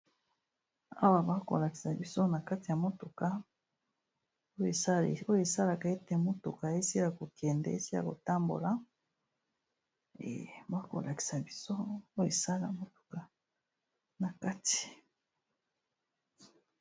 awa bakolakisa biso na kati ya motuka oyo esalaka ete motuka esila kokende esi ya kotambolabakolakisa biso yo esala motuka na kati